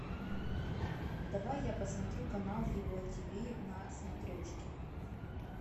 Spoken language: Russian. давай я посмотрю канал его ти ви на смотрешке